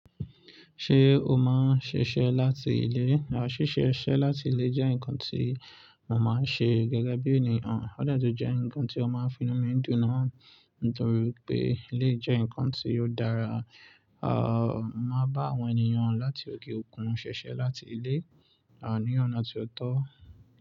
Ṣé o máa ń ṣiṣẹ́ láti ilé? Rárá, ṣíṣe iṣẹ́ láti ilé jẹ́ nǹkan tí mo máa ń ṣe gẹ́gẹ́ bí ènìyàn. Ó de tun jẹ́ nǹkan tí ó máa ń finu mí dùn naa, nítorí wipé eleyii jẹ́ nǹkan tí ó dára. Àń, mo máa bá àwọn ènìyàn láti òkè òkun ṣiṣẹ́ láti ilé, à ní ọ̀nà tí ó tó.